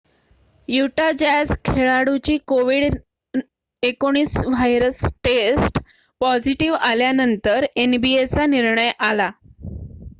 Utah Jazz खेळाडूची कोविड-19 virus test positive आल्यानंतर nba चा निर्णय आला